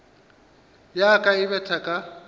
ya ka e betha ka